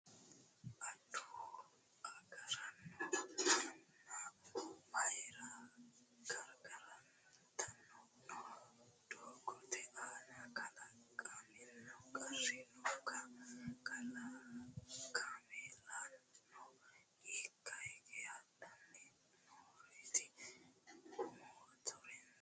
Adawu agaraano manna mayiira gargartanni noo? Doogote aana kalaqamino qarri nookka? Kaamellano hiikka higge hadhanni nooreti? Motoraasinuno hiikkira hadhayi noo?